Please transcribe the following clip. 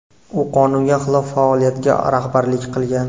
U qonunga xilof faoliyatga rahbarlik qilgan.